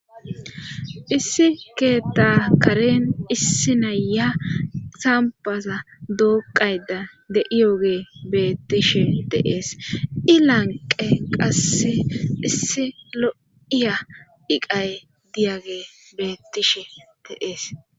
Issi keeta karen issi naya sampaza dooqayda de'iyogee beettishe teees i lanqe qasse issi lo'iya iqay diyage beettishe teees.